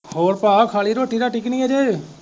ਹੋਰ ਭਾਅ ਖਾ ਲਈ ਰੋਟੀ ਰਾਟੀ ਕਿ ਨਹੀਂ ਹਜੇ